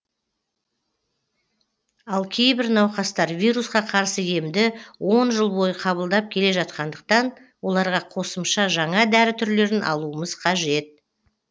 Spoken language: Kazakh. ал кейбір науқастар вирусқа қарсы емді он жыл бойы қабылдап келе жатқандықтан оларға қосымша жаңа дәрі түрлерін алуымыз қажет